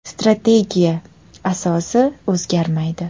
Strategiya asosi o‘zgarmaydi.